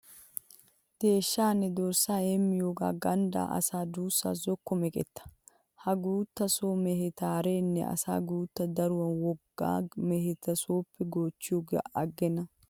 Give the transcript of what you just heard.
Deeshshaanne dorssaa heemmiyogee ganddaa asaa duussawu zokko meqetta. Ha guutta so meheta haarenna asi guuttan daruwan wogga meheta sooppe goochchiyogaa aggenna.